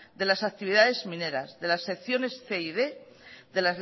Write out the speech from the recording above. de las actividades mineras de las secciones cien y quinientos